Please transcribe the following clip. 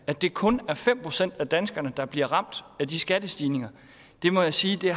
at det kun er fem procent af danskerne der bliver ramt af de skattestigninger det må jeg sige